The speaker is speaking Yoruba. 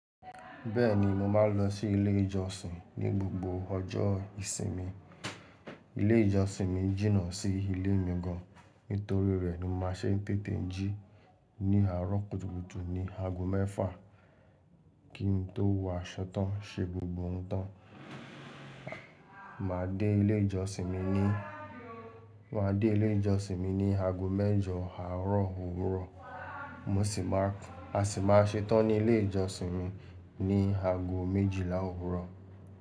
Bẹ́ẹ̀ni, mo máa ń lọ sí ilé ìjọsìn ní gbogbo ọjọ́ ìsinmi. Ilé ìjọsìn mi jìnnà sí ilé mi gan. Nítorí rẹ̀ ni màá ṣe ń tètè jí ní àárọ̀ kùtùkùtù ní ago mẹ́fà kí n tó wọ aṣọ tan ṣe gbogbo oun tán. Màá dé ilé ìjọsìn mi ní, màá dé ilé ìjọsìn mi ní ago mẹ́jọ àárọ̀ òwúrọ̀. Mo sì máa, a sì máa ṣe tán ní ilé ìjọsìn mi ní ago méjìlá òwúrọ̀